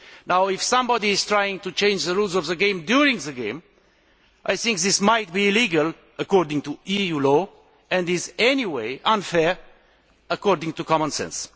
Now, if somebody is trying to change the rules of the game during the game, I think this might be illegal according to EU law and is, anyway, unfair according to common sense.